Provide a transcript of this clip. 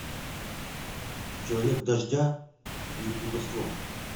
человек дождя и плутовство